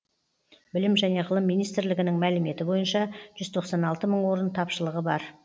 білім және ғылым министрлігінің мәліметі бойынша жүз тоқсан алты мың орын тапшылығы бар